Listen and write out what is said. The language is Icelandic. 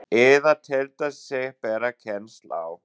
eða teldi sig bera kennsl á.